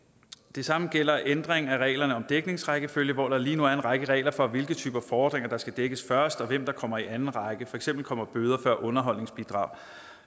det samme gælder ændring af reglerne om dækningsrækkefølge hvor der lige nu er en række regler for hvilke typer fordringer der skal dækkes først og hvem der kommer i anden række for eksempel kommer bøder før underholdsbidrag